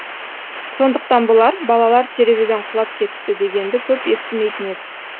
сондықтан болар балалар терезеден құлап кетіпті дегенді көп естімейтін едік